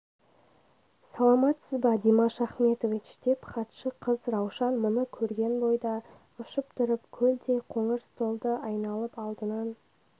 саламатсыз ба димаш ахметович деп хатшы қыз раушан мұны көрген бойда ұшып тұрып көлдей қоңыр столды айналып алдынан